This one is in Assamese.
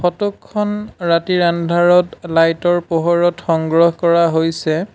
ফটো খন ৰাতিৰ আন্ধাৰত লাইট ৰ পোহৰত সংগ্ৰহ কৰা হৈছে।